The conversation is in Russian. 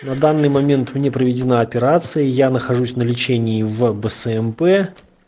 на данный момент мне проведена операция я нахожусь на лечении в бсмп